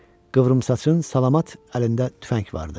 Qıvrımsaçın salamat əlində tüfəng vardı.